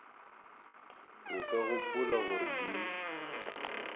o ka gopola gore di